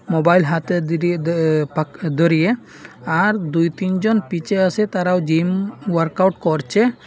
Mobile হাতে দি দি দ পাক দরিয়ে আর দুই তিনজন পিচে আসে তারাও জিম ওয়ার্কআউট করছে।